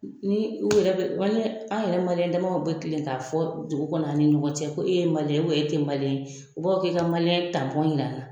Ni u yɛrɛ bɛ an yɛrɛ maliyɛn damaw bɛ kile k'a fɔ dugu kɔnɔ an ni ɲɔgɔn cɛ ko e ye maliyɛn ye e tɛ maliyɛn, u b'a fɔ k'e ka maliyɛn tanpɔn yir'a la.